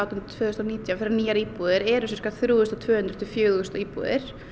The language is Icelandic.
tvö þúsund og nítján fyrir nýjar íbúðir er sirka þrjú þúsund og tvö hundruð til fjögur þúsund íbúðir